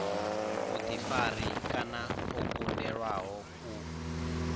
vhuḓifari kana o kundelwaho u